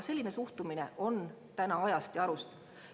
Selline suhtumine on ajast ja arust.